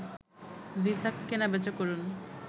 visa কেনাবেচা করুন